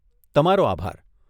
તમારો આભાર.